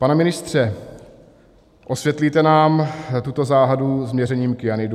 Pane ministře, osvětlíte nám tuto záhadu s měřením kyanidů?